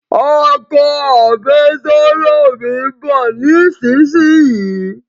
Ọkọ àfẹ́sọ́nà mi n bọ̀ nísinsìnyí